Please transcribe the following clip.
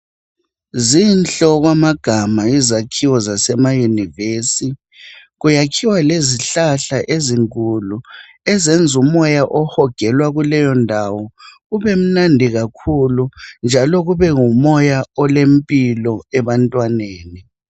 Zinhle okwamagama izakhiwo zasemaYunivesi, kuyakhiwa lezihlahla ezinkulu ezenza umoya ohojelwa kuleyo ndawo ubemnandi kakhulu, njalo kubengumoya olempilo ebantwaneni.